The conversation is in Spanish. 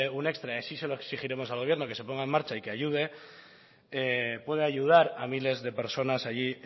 un extra y así se lo exigiremos al gobierno que se ponga en marcha y que ayude pueda ayudar a miles de personas allí